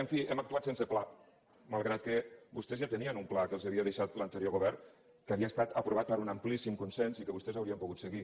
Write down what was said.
en fi hem actuat sense pla malgrat que vostès ja tenien un pla que els havia deixat l’anterior govern que havia estat aprovat per un amplíssim consens i que vostès haurien pogut seguir